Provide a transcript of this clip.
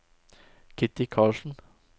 Kitty Karlsen